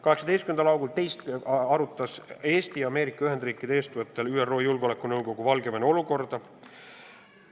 18. augustil arutas ÜRO Julgeolekunõukogu Eesti ja Ameerika Ühendriikide eestvõttel Valgevene olukorda.